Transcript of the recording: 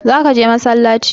Za ka je massalaci?